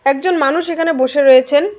একজন মানুষ এখানে বসে রয়েছেন।